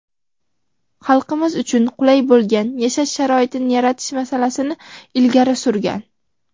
xalqimiz uchun qulay bo‘lgan yashash sharoitini yaratish masalasini ilgari surgan.